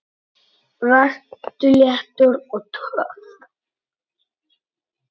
Vertu léttur. og töff!